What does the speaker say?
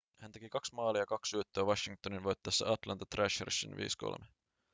hän teki 2 maalia ja 2 syöttöä washingtonin voittaessa atlanta thrashersin 5-3